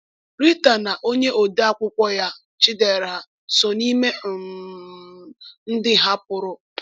Rita na onye odeakwụkwọ ya, Chidera, so n’ime um um ndị hapụrụ.